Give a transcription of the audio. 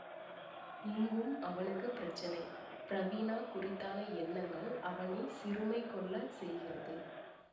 இங்கும் அவனுக்கு பிரச்சனை பிரவீணா குறித்தான எண்ணங்கள் அவனை சிறுமை கொள்ள செய்கிறது